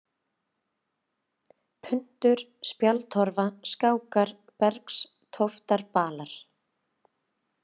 Puntur, Spjaldtorfa, Skákar, Bergstóftarbalar